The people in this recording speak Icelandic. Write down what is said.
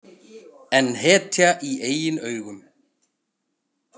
En hetja í eigin augum.